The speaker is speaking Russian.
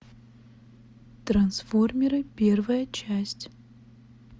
трансформеры первая часть